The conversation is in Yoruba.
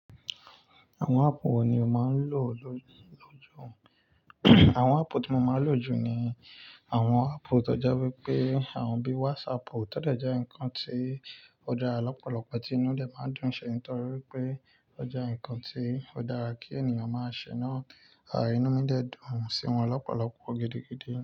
Àwọn áàpù wo ni o máa ń lò lójoojúmọ́? Àwọn áàpù tí mo máa ń lò jù ni àwọn áàpù tó jẹ́ wípé àwọn bíi WhatsApp, tọde jẹ́ ǹkan tí ó dára lọ́pọ̀lọpọ̀ tí inú dé máa ń dùn ṣẹ́ nítorí wípé ó jẹ́ ǹkan tí ó dára kí ènìyàn máa ṣènà, à inú mi dẹ́ dùn sí wọn lọ́pọ̀lọpọ̀ gidigidi.